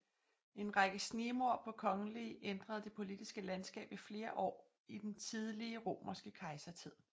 En række snigmord på kongelige ændrede det politiske landskab i flere år i den tidlige romerske kejsertid